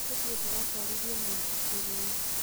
Tũthiĩ tũgatwarithie mũithikiri.